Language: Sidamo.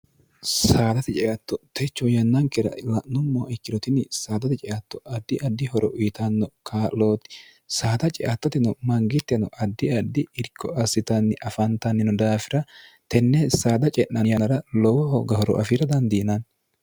saadate ceatto techo yannankira la'nommoho ikkirotinni saadate ceatto addi addi horo iitanno kaa'looti saada ceattatino mangitteno addi addi irko assitanni afaantannino daafira tenne saada ce'nan yaanara lowoho gahoro afiira dandiinanni